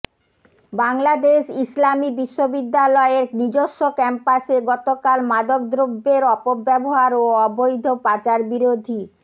বাংলাদেশ ইসলামী বিশ্ববিদ্যালয়ের নিজস্ব ক্যাম্পাসে গতকাল মাদকদ্রব্যের অপব্যাবহার ও অবৈধ পাচারবিরোধী